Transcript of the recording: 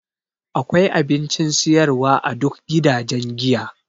Akwai abincin siyarwa a duk gidajen giya.